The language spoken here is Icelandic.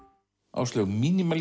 Áslaug